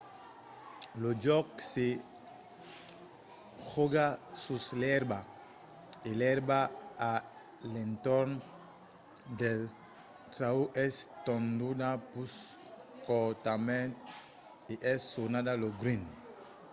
lo jòc se jòga sus l'èrba e l'èrba a l'entorn del trauc es tonduda pus cortament e es sonada lo green